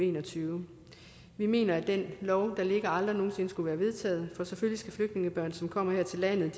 en og tyve vi mener at den lov der ligger aldrig nogen sinde skulle være vedtaget for selvfølgelig skal flygtningebørn som kommer her til landet